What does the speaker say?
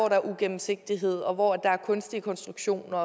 er ugennemsigtighed og hvor der er kunstige konstruktioner